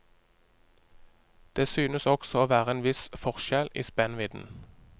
Det synes også å være en viss forskjell i spennvidden.